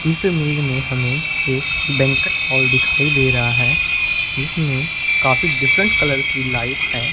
इस इमेज़ में हमें एक बैंकट हॉल दिखाई दे रहा है जिसमें काफ़ी डिफरेंट कलर की लाइट्स है।